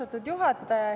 Austatud juhataja!